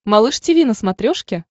малыш тиви на смотрешке